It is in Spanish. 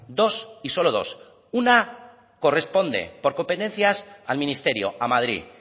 dos y solo dos una corresponde por competencias al ministerio a madrid